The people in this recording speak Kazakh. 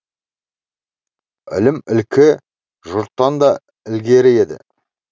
ілімі ілкі жұрттан да ілгері еді